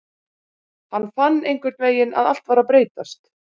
Hann fann einhvernvegin að allt var að breytast.